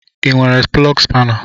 I nwere plọgu spana?